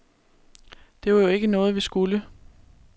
Det var jo ikke noget, vi skulle.